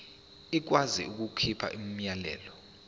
ikwazi ukukhipha umyalelo